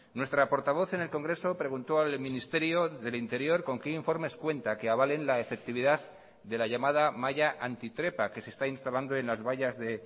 nuestra portavoz en el congreso preguntó al ministerio del interior con qué informes cuenta que avalen la efectividad de la llamada malla antitrepa que se está instalando en las vallas de